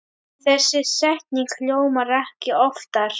Þessi setning hljómar ekki oftar.